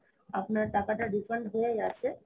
আপনার টাকাটা refund হয়ে গেছে